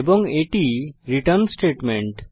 এবং এটি return statement